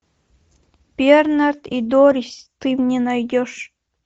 бернард и дорис ты мне найдешь